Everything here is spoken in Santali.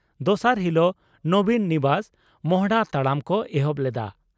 ᱫᱚᱥᱟᱨ ᱦᱤᱞᱚᱜ 'ᱱᱚᱵᱤᱱ ᱱᱤᱵᱟᱥ' ᱢᱚᱦᱰᱟ ᱛᱟᱲᱟᱢ ᱠᱚ ᱮᱦᱚᱵ ᱞᱮᱫᱼᱟ